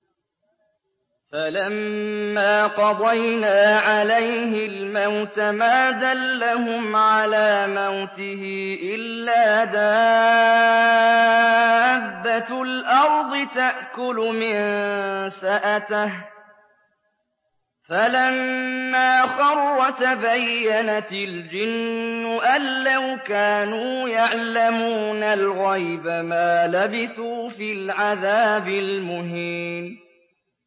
فَلَمَّا قَضَيْنَا عَلَيْهِ الْمَوْتَ مَا دَلَّهُمْ عَلَىٰ مَوْتِهِ إِلَّا دَابَّةُ الْأَرْضِ تَأْكُلُ مِنسَأَتَهُ ۖ فَلَمَّا خَرَّ تَبَيَّنَتِ الْجِنُّ أَن لَّوْ كَانُوا يَعْلَمُونَ الْغَيْبَ مَا لَبِثُوا فِي الْعَذَابِ الْمُهِينِ